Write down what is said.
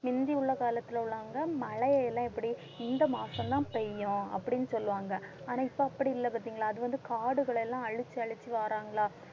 முந்தி உள்ள காலத்துல உள்ளவங்க மழையை எல்லாம் எப்படி இந்த மாசம்தான் பெய்யும் அப்படின்னு சொல்லுவாங்க ஆனா இப்ப அப்படி இல்லை பார்த்தீங்களா? அது வந்து காடுகளை எல்லாம் அழிச்சு அழிச்சு வர்றாங்களா?